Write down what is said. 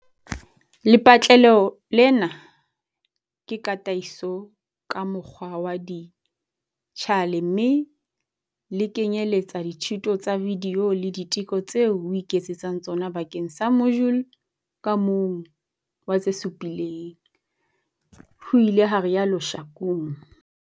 Lepatlelo lena ke tataiso ka mokgwa wa dijithale mme le kenyeletsa dithuto tsa vidiyo le diteko tseo o iketsetsang tsona bakeng sa mojule ka mong wa tse supileng, ho ile ha rialo Shakung.